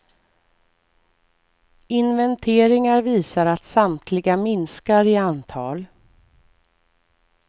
Inventeringar visar att samtliga minskar i antal.